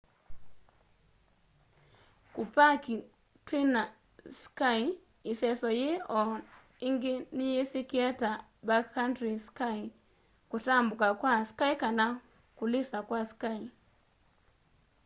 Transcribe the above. kupaki twina ski iseso yii o ingi niyisikie ta backcountry ski kutambuka kwa ski kana kulisa kwa ski